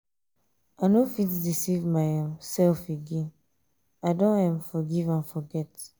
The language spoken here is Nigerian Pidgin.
i no fit deceive my um self um again i don um forgive and forget.